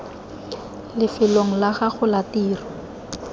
lefelong la gago la tiro